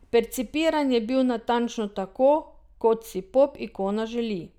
Percipiran je bil natančno tako, kot si pop ikona želi.